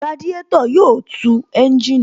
Radiátò yóò tu ẹ́ńjìnì